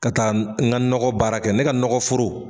Ka taa n ka nakɔ baara kɛ ne ka nɔkɔ foro